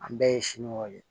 An bɛɛ ye siɲɔ ye